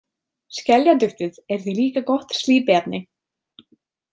Skeljaduftið er því líka gott slípiefni.